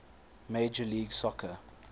major league soccer